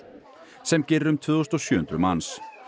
sem gerir um tvö þúsund og sjö hundruð manns